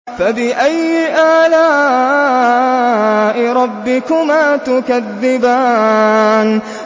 فَبِأَيِّ آلَاءِ رَبِّكُمَا تُكَذِّبَانِ